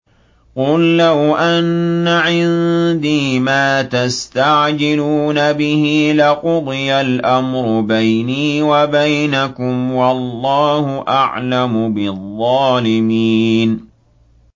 قُل لَّوْ أَنَّ عِندِي مَا تَسْتَعْجِلُونَ بِهِ لَقُضِيَ الْأَمْرُ بَيْنِي وَبَيْنَكُمْ ۗ وَاللَّهُ أَعْلَمُ بِالظَّالِمِينَ